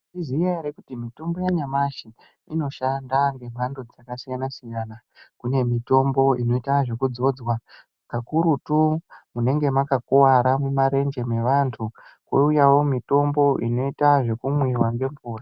Maiziya ere kuti mitombo yanyamashi inoshanda ngemhando dzakasiyana siyana. Kune mitombo inoita zvekudzodzwa kakurutu munenge makakwara mumarenje mevantu. Kouyawo mitombo inoita zvekumwiwa nemvura.